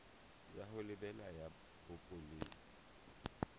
ya ho lebela ya bopolesa